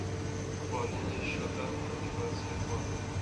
пополнение счета мобильного телефона